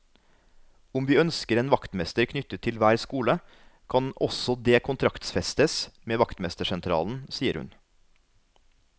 Om vi ønsker en vaktmester knyttet til hver skole, kan også det kontraktfestes med vaktmestersentralen, sier hun.